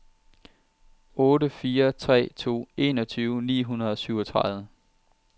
otte fire tre to enogtyve ni hundrede og syvogtredive